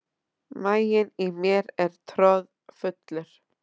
Maginn í mér er troðfullur.